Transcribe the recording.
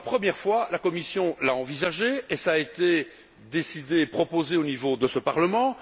Pour la première fois, la Commission l'a envisagé et il a été décidé et proposé au niveau de ce Parlement.